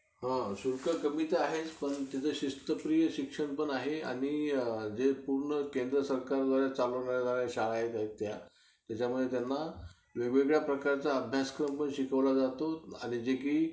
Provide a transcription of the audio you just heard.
शुल्क कमी तर आहेच पण तिथं शिस्तप्रिय शिक्षक पण आहे. आणि ते पूर्ण केंद्र सरकारद्वारे चालवणाऱ्या शाळा आहेत त्या. त्याच्यामुळे त्यांना वेगवेगळ्या प्रकारचा अभ्यासक्रम पण शिकवला जातो. आणि जे कि